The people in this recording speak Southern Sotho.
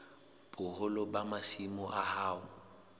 boholo ba masimo a hao